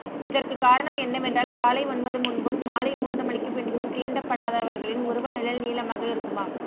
இதற்கு காரணம் என்னவென்றால் காலை ஒன்பது முன்பும் மாலை மூன்று மணிக்கு பின்பும் தீண்டப்படாதவர்களின் உருவ நிழல் நீளமாக இருக்குமாம்